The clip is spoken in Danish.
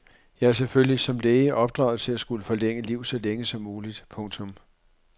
Jeg er selvfølgelig som læge opdraget til at skulle forlænge liv så længe som muligt. punktum